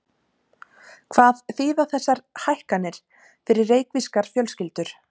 Hvað þýða þessar hækkanir fyrir reykvískar fjölskyldur?